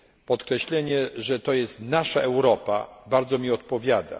Podkreślenie, że to jest nasza Europa bardzo mi odpowiada.